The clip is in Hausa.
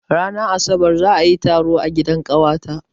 Ranar asabar za a yi taro a gidan ƙawata.